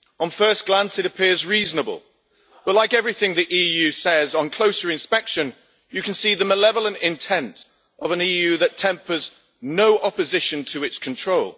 On first glance it appears reasonable but, like everything the EU says, on closer inspection you can see the malevolent intent of an EU that tempers no opposition to its control.